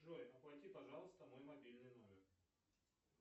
джой оплати пожалуйста мой мобильный номер